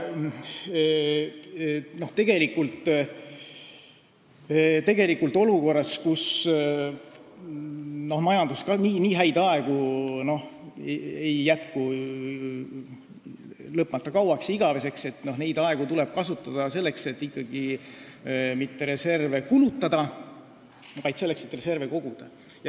Nii häid aegu ei jätku lõpmata kauaks ega igaveseks, neid tuleb kasutada selleks, et reserve koguda, mitte selleks, et reserve kulutada.